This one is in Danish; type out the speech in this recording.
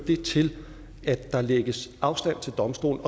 til at der lægges afstand til domstolen